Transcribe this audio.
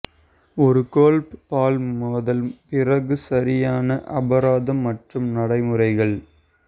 ஒரு golf ball மோதல் பிறகு சரியான அபராதம் மற்றும் நடைமுறைகள்